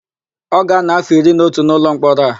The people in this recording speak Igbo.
Ọ ga-ánọ̀ áfọ̀ iri na otu n'ụlọmkpọrọ a.